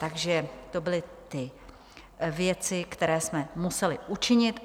Takže to byly ty věci, které jsme museli učinit.